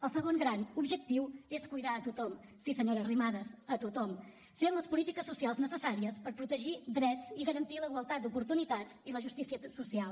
el segon gran objectiu és cuidar a tothom sí senyora arrimadas a tothom fent les polítiques socials necessàries per protegir drets i garantir la igualtat d’oportunitats i la justícia social